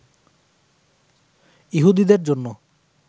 ইহুদীদের জন্যে